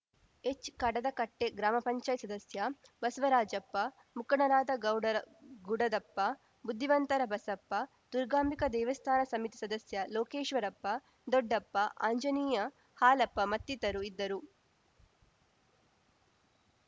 H ಕಡದಕಟ್ಟೆಗ್ರಾಮ ಪಂಚಾಯತ್ ಸದಸ್ಯ ಬಸವರಾಜಪ್ಪ ಮುಖಂಡರಾದ ಗೌಡರ ಗುಡದಪ್ಪ ಬುದ್ಧಿವಂತರ ಬಸಪ್ಪ ದುರ್ಗಾಂಬಿಕಾ ದೇವಸ್ಥಾನ ಸಮಿತಿ ಸದಸ್ಯ ಲೋಕೇಶ್ವರಪ್ಪ ದೊಡ್ಡಪ್ಪ ಆಂಜನೇಯ ಹಾಲಪ್ಪ ಮತ್ತಿತರು ಇದ್ದರು